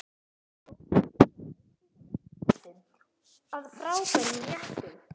Þetta er daginn eftir fyrri íkveikjuna.